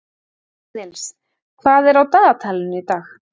Aðils, hvað er á dagatalinu í dag?